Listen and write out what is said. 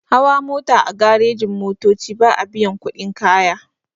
Hawa mota a garejin-motoci ba'a biyan kuɗin kaya.